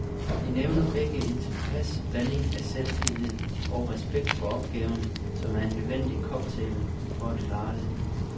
De nævner begge en tilpas blanding af selvtillid og respekt for opgaven, som er en nødvendig cocktail for at klare det.